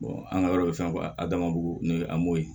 an ka yɔrɔ bɛ fɛn a damadugu a m'o ye